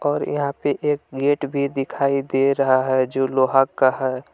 और यहां पे एक गेट भी दिखाई दे रहा है जो लोहा का है।